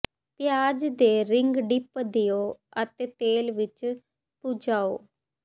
ਪਿਆਜ਼ ਦੇ ring dip ਦਿਓ ਅਤੇ ਤੇਲ ਵਿੱਚ ਭੁੰਚਾਓ